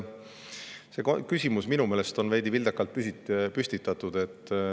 See küsimus oli minu meelest veidi vildakalt püstitatud.